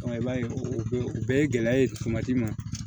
i b'a ye o bɛɛ o bɛɛ ye gɛlɛya ye ma